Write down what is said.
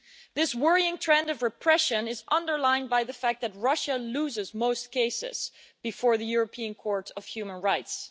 This worrying trend of repression is underlined by the fact that Russia loses most cases before the European Court of Human Rights.